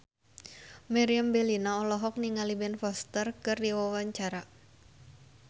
Meriam Bellina olohok ningali Ben Foster keur diwawancara